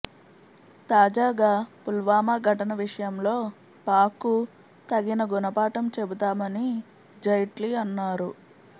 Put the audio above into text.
తాజాగా పుల్వామా ఘటన విషయంలో పాక్కు తగిన గుణపాఠం చెబుతామని జైట్లీ అన్నారు